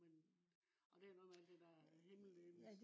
men. og det er noget med alt det der himmellegeme